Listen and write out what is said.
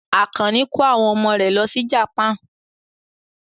Àkànní ko àwọn ọmọ rẹ̀ lọ sí Japan.